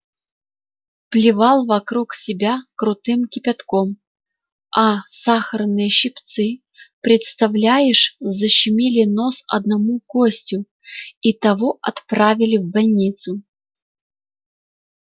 плевал вокруг себя крутым кипятком а сахарные щипцы представляешь защемили нос одному гостю и того отправили в больницу